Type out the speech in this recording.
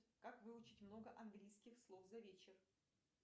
как выучить много английских слов за вечер